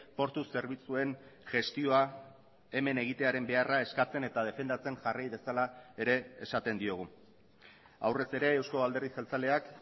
portu zerbitzuen gestioa hemen egitearen beharra eskatzen eta defendatzen jarrai dezala ere esaten diogu aurrez ere euzko alderdi jeltzaleak